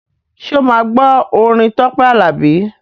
Ṣé o máa gbọ́ orin Tọ́pẹ́ Àlàbí?